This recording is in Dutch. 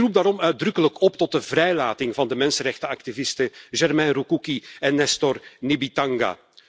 Ik roep daarom uitdrukkelijk op tot de vrijlating van de mensenrechtenactivisten Germain Rukuki en Nestor Nibitanga.